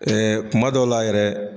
Ɛɛ kuma dɔw la yɛrɛ